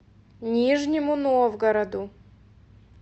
нижнему новгороду